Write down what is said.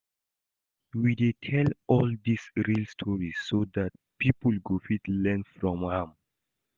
We dey tell all these real stories so dat people go fit learn from am